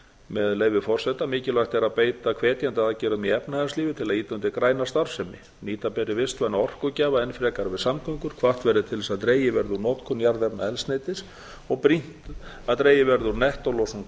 með leyfi forseta mikilvægt er að beita hvetjandi aðgerðum í efnahagslífinu til að ýta undir græna starfsemi nýta ber vistvæna orkugjafa enn frekar við samgöngur hvatt verði til þess að dregið verði úr notkun jarðefnaeldsneytis brýnt er að dregið verði úr nettólosun